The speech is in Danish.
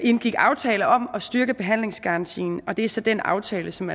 indgik aftale om at styrke behandlingsgarantien og det er så den aftale som